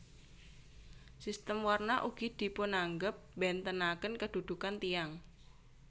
Sistem Warna ugi dipunanggep mbentenaken kedhudhukan tiyang